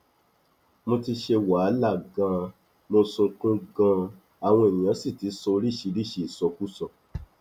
mo ti ṣe wàhálà ganan mo sunkún ganan àwọn èèyàn sì ti sọ oríṣìíríṣìí ìsọkúsọ